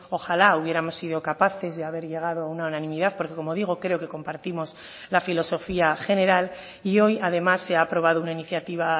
ojala hubiéramos sido capaces de haber llegado a una unanimidad porque como digo creo que compartimos la filosofía general y hoy además se ha aprobado una iniciativa